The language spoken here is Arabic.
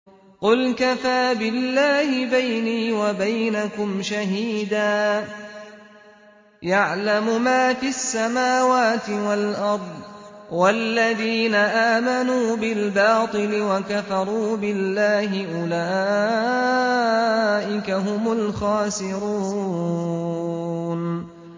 قُلْ كَفَىٰ بِاللَّهِ بَيْنِي وَبَيْنَكُمْ شَهِيدًا ۖ يَعْلَمُ مَا فِي السَّمَاوَاتِ وَالْأَرْضِ ۗ وَالَّذِينَ آمَنُوا بِالْبَاطِلِ وَكَفَرُوا بِاللَّهِ أُولَٰئِكَ هُمُ الْخَاسِرُونَ